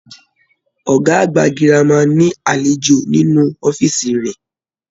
Ọgá àgbà gírámà ní alejò nínú ọ̀fiísí rẹ.